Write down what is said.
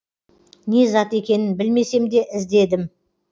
не зат екенін білмесем де іздедім